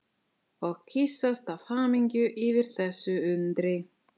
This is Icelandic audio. Og kyssast af hamingju yfir þessu undri.